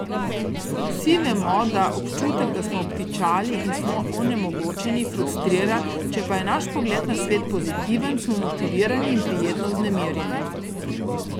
Vsi vemo, da občutek, da smo obtičali in smo onemogočeni, frustrira, če pa je naš pogled na svet pozitiven, smo motivirani in prijetno vznemirjeni.